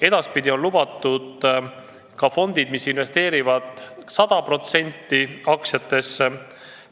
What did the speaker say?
Edaspidi on lubatud ka fondid, mis investeerivad 100% aktsiatesse.